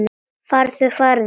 Farðu, farðu.